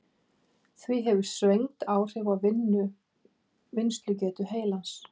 Því hefur svengd áhrif á vinnslugetu heilans.